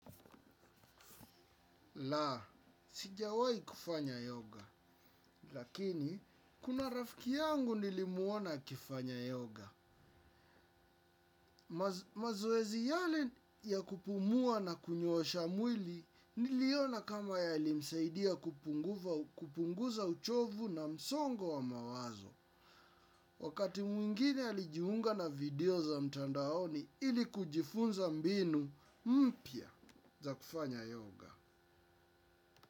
Laa, sijawahi kufanya yoga. Lakini, kuna rafiki yangu nilimuona akifanya yoga. Mazoezi yale ya kupumua na kunyosha mwili niliona kama yalimsaidia kupunguza uchovu na msongo wa mawazo. Wakati mwingine alijiunga na video za mtandaoni ili kujifunza mbinu mpya za kufanya yoga.